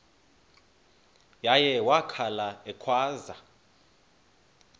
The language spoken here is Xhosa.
uye wakhala ekhwaza